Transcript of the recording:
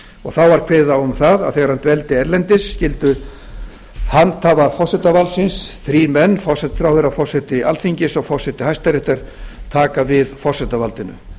og það var kveðið á um það að þegar hann dveldi erlendis skyldu handhafar forsetavaldsins þrír menn forsætisráðherra forseti alþingis og forseti hæstaréttar taka við forsetavaldinu